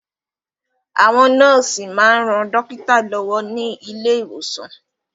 Àwọn nọ́ọ̀sì máa ń ran dókítà lọ́wọ́ ní ilé ìwòsàn